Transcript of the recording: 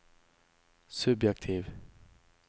subjektiv